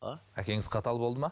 а әкеңіз қатал болды ма